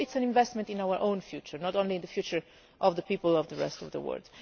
So this is an investment in our own future, not just in the future of the people in the rest of the world.